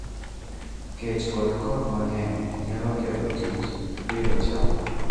Kech kod koth mang'eny nyalo ketho tij pidho cham.